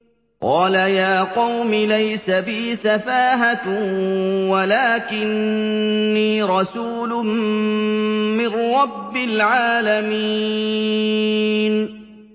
قَالَ يَا قَوْمِ لَيْسَ بِي سَفَاهَةٌ وَلَٰكِنِّي رَسُولٌ مِّن رَّبِّ الْعَالَمِينَ